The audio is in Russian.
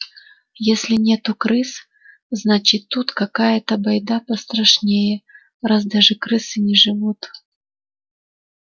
если нет крыс значит тут какая-то байда пострашнее раз даже крысы не живут